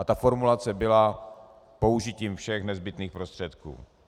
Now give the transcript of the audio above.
A ta formulace byla "použitím všech nezbytných prostředků".